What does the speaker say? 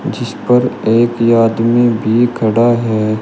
जिस पर एक आदमी भी खड़ा है।